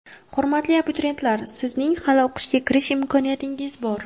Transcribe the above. Hurmatli abituriyentlar, sizning hali o‘qishga kirish imkoniyatingiz bor!.